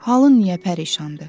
Halın niyə pərişandı?